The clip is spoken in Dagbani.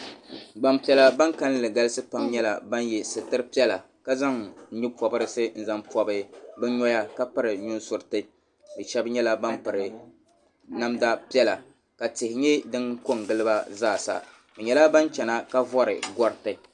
Gba piɛlla baŋ kanli galisi nyɛla ban yɛ sitira piɛlla ka zaŋ no pobirisi n pɔbibu bi nɔya ka piri nu surriti bi shɛba yɛla banpiri namda piɛlla ka tihi yɛ din ko n gili ba zaa sa bi yɛla baŋ chɛina ka vori gariti